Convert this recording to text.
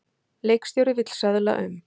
Leikstjóri vill söðla um